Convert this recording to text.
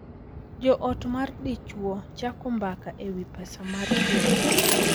Jo ot mar dichuo chako mbaka e wi pesa mar keny